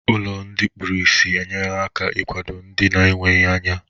Ụlọ ndị kpuru ìsì enyerela aka n'ịkwado ndị na-enweghi anya.